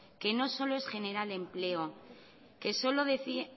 que no es solo generar empleo que yo lo decía